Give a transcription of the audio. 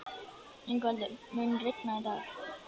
Yngveldur, mun rigna í dag?